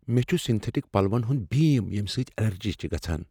مےٚ چھ سِنتھیٹک پلون ہنٛد بیٖم یمو سۭتۍ ایلرجی چھےٚ گژھان۔